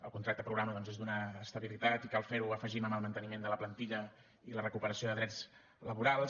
el contracte programa doncs és donar estabilitat i cal fer ho afegim amb el manteniment de la plantilla i la recuperació de drets laborals